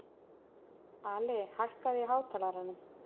Ali, hækkaðu í hátalaranum.